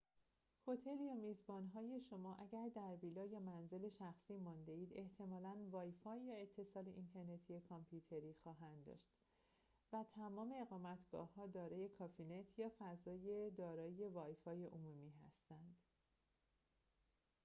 هتل یا میزبان‌های شما اگر در ویلا یا منزل شخصی مانده‌اید احتمالاً‌ وای‌فای یا اتصال اینترنتی کامپیوتری خواهد داشت و تمام اقامتگاه‌ها دارای کافی‌نت یا فضای دارای وای‌فای عمومی هستند